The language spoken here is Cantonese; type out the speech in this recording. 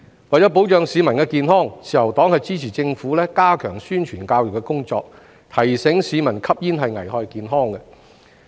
為保障市民健康，自由黨支持政府加強宣傳教育的工作，提醒市民吸煙危害健康。